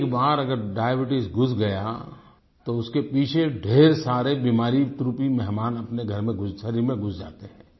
एक बार अगर डायबीट्स घुस गया तो उसके पीछे ढेर सारे बीमारी कुरुपी मेहमान अपने घर में शरीर में घुस जाते हैं